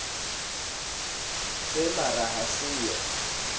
se mara ha se ho